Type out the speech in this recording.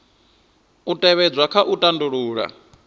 u tevhedzwa kha u tandulula